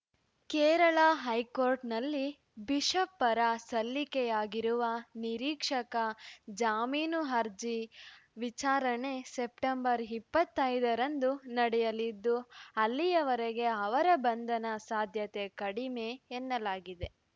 ಕೇರಳ ಹೈಕೋರ್ಟ್‌ನಲ್ಲಿ ಬಿಷಪ್‌ ಪರ ಸಲ್ಲಿಕೆಯಾಗಿರುವ ನಿರೀಕ್ಷಕ ಜಾಮೀನು ಅರ್ಜಿ ವಿಚಾರಣೆ ಸೆಪ್ಟೆಂಬರ್ ಇಪ್ಪತ್ತೈದರಂದು ನಡೆಯಲಿದ್ದು ಅಲ್ಲಿ ವರೆಗೆ ಅವರ ಬಂಧನ ಸಾಧ್ಯತೆ ಕಡಿಮೆ ಎನ್ನಲಾಗಿದೆ